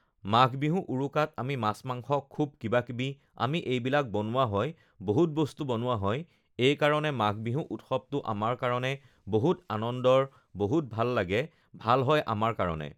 মাঘবিহু উৰুকাত আমি মাছ মাংস খুব কিবা কিবি আমি এইবিলাক বনোৱা হয় বহুত বস্তু বনোৱা হয় এইকাৰণে মাঘবিহু উৎসৱটো আমাৰ কাৰণে বহুত আনন্দৰ, বহুত ভাল লাগে, ভাল হয় আমাৰ কাৰণে